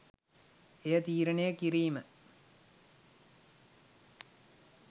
එය තීරණය කිරීම